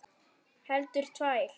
Heldur tvær.